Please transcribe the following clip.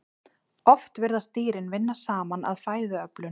Oft virðast dýrin vinna saman að fæðuöflun.